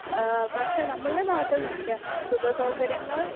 speaker 1 ഏഹ് പക്ഷേ നമ്മുടെ നാട്ടിൽ നോക്കിയാൽ സുഖസൗകര്യങ്ങൾ